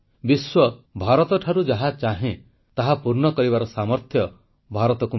ବିଶ୍ୱ ଭାରତଠାରୁ ଯାହା ଚାହେଁ ତାହା ପୂର୍ଣ୍ଣ କରିବାର ସାମର୍ଥ୍ୟ ଭାରତକୁ ମିଳୁ